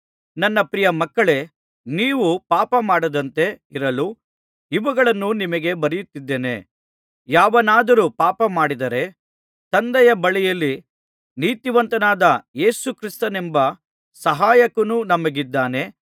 ನನ್ನ ಪ್ರಿಯಮಕ್ಕಳೇ ನೀವು ಪಾಪಮಾಡದಂತೆ ಇರಲು ಇವುಗಳನ್ನು ನಿಮಗೆ ಬರೆಯುತ್ತಿದ್ದೇನೆ ಯಾವನಾದರೂ ಪಾಪಮಾಡಿದರೆ ತಂದೆಯ ಬಳಿಯಲ್ಲಿ ನೀತಿವಂತನಾದ ಯೇಸು ಕ್ರಿಸ್ತನೆಂಬ ಸಹಾಯಕನು ನಮಗಿದ್ದಾನೆ